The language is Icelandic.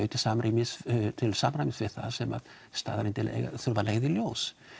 til samræmis til samræmis við það sem staðreyndir þurfa að leiða í ljós